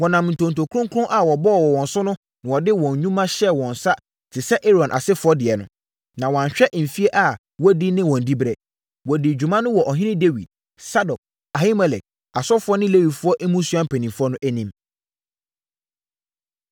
Wɔnam ntonto kronkron a wɔbɔɔ wɔ wɔn so na wɔde wɔn nnwuma hyɛɛ wɔn nsa te sɛ Aaron asefoɔ deɛ no, a wɔanhwɛ mfeɛ a wɔadi ne wɔn diberɛ. Wɔdii dwuma no wɔ ɔhene Dawid, Sadok, Ahimelek, asɔfoɔ ne Lewifoɔ mmusua mpanimfoɔ no anim.